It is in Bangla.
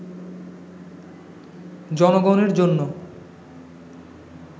জনগণের জন্য